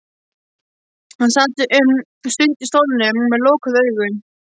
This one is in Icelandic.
Hann sat um stund í stólnum með lokuð augu.